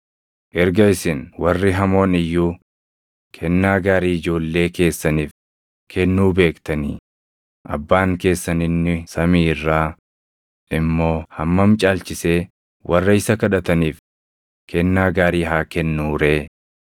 Erga isin warri hamoon iyyuu kennaa gaarii ijoollee keessaniif kennuu beektanii, abbaan keessan inni samii irraa immoo hammam caalchisee warra isa kadhataniif kennaa gaarii haa kennuu ree!